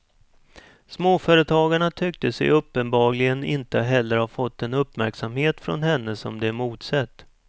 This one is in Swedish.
Småföretagarna tyckte sig uppenbarligen inte heller ha fått den uppmärksamhet från henne som de emotsett.